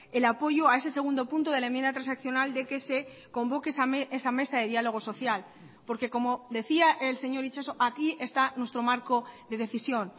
el apoyo a ese segundo punto de la enmienda transaccional de que se convoque esa mesa de diálogo social porque como decía el señor itxaso aquí está nuestro marco de decisión